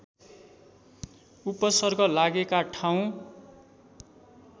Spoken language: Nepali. उपसर्ग लागेका ठाउँ